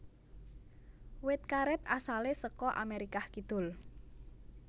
Wit karet asale saka Amerikah Kidul